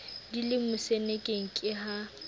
di le mosenekeng ke ha